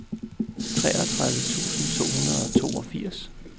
treogtredive tusind to hundrede og toogfirs